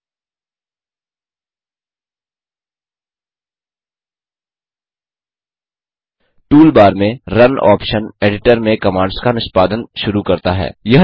tool bar में run option editor में commands का निष्पादन शुरू करता है